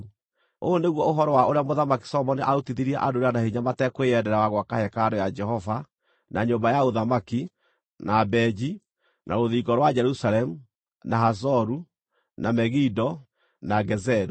Ũyũ nĩguo ũhoro wa ũrĩa Mũthamaki Solomoni aarutithirie andũ wĩra na hinya matekwĩyendera wa gwaka hekarũ ya Jehova na nyũmba ya ũthamaki, na mbenji, na rũthingo rwa Jerusalemu, na Hazoru, na Megido, na Gezeru.